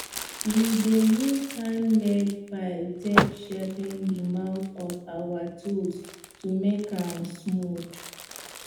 we dey use handmade file take sharpen the mouth of our tools to make am smaooth